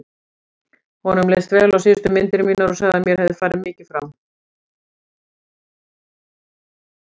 Honum leist vel á síðustu myndir mínar og sagði að mér hefði farið mikið fram.